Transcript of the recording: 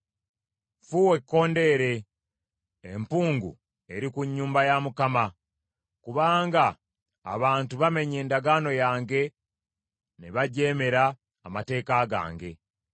“Ffuwa ekkondeere. Empungu eri ku nnyumba ya Mukama kubanga abantu bamenye endagaano yange ne bajeemera amateeka gange.